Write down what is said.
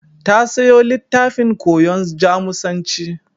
Ta sayo littafin koyon Jamusanci.